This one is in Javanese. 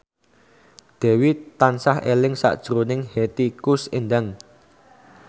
Dewi tansah eling sakjroning Hetty Koes Endang